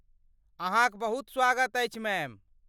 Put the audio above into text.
अहाँक बहुत स्वागत अछि, मैम।